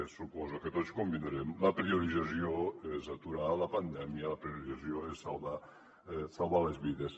suposo que tots ho convindrem la priorització és aturar la pandèmia la priorització és salvar les vides